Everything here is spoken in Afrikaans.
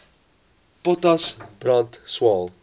potas brand swael